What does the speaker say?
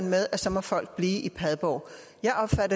med at så må folk blive i padborg